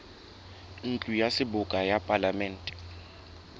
ntlo ya seboka ya palamente